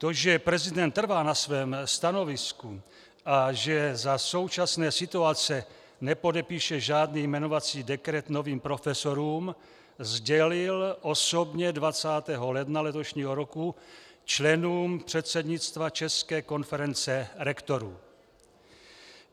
To, že prezident trvá na svém stanovisku a že za současné situace nepodepíše žádný jmenovací dekret novým profesorům, sdělil osobně 20. ledna letošního roku členům předsednictva České konference rektorů.